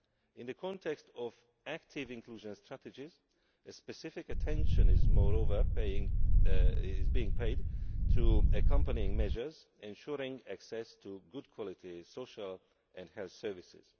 In the context of active inclusion strategies, specific attention is, moreover, being paid to accompanying measures ensuring access to good quality social and health services.